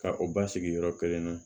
Ka o basigi yɔrɔ kelen na